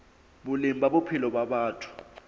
boleng ba bophelo ba batho